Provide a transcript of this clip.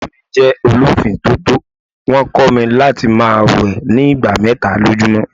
Ìyá mí jẹ́ ọ lọ fì tótó, wón kó mi láti máa wẹ̀ ni ìgbà mẹ́ta lójú mọ́.